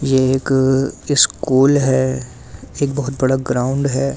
यह एक स्कूल है एक बहुत बड़ा ग्राउंड है जिस।